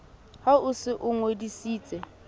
ha o se o ngodisitse